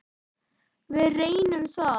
Við reynum það.